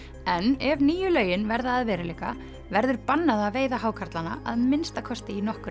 en ef nýju lögin verða að veruleika verður bannað að veiða hákarlana að minnsta kosti í nokkur